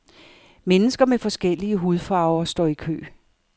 Mennesker med forskellige hudfarver står i kø.